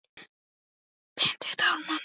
Ekkert af fötum Júlíu passi hvort sem er.